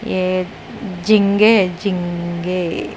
ये जिंगे जिंगे ए --